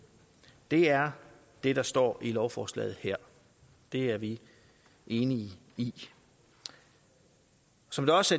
er det der står i lovforslaget her det er vi enige i som det også